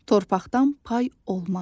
Torpaqdan pay olmaz.